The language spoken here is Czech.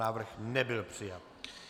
Návrh nebyl přijat.